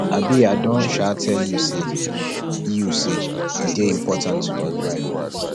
um i don um tell you say e you say e dey important to read bible